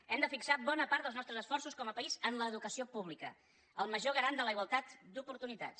hem de fixar bona part dels nostres esforços com a país en l’educació pública el major garant de la igualtat d’oportunitats